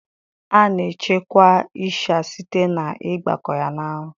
A na echekwa ịsha site na ighakpo ya na anwụ